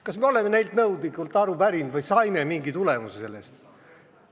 Kas me oleme neilt nõudlikult aru pärinud või saime mingi tulemuse sellest?